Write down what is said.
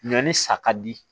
Ɲɔn ni sa ka di